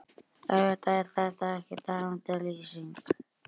Auðvitað er þetta ekki tæmandi lýsing.